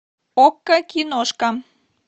окко киношка